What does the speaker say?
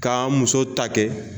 K'an muso ta kɛ